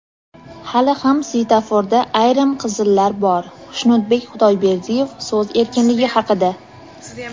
Hali ham svetoforda ayrim qizillar bor – Xushnudbek Xudoyberdiyev so‘z erkinligi haqida.